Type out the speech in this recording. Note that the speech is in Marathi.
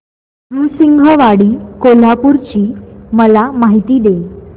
नृसिंहवाडी कोल्हापूर ची मला माहिती दे